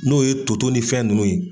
N'o ye toto ni fɛn ninnu ye.